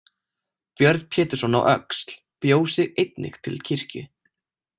Björn Pétursson á Öxl bjó sig einnig til kirkju.